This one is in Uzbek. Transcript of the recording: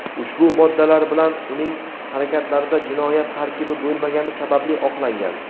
ushbu moddalar bilan uning harakatlarida jinoyat tarkibi bo‘lmagani sababli oqlangan.